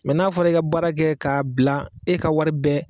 n'a fɔra i ka baara kɛ k'a bila e ka wari bɛɛ